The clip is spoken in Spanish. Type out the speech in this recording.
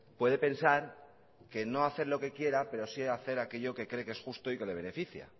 puede pensar que no hacer lo que quiera pero sí hacer aquello que es justo y que le beneficia